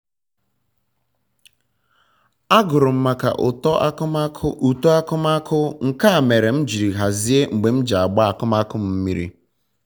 agụrụ m maka uto akụmakụ nke a mere m jiri hazie mgbe m ji agba akụmakụ m mmiri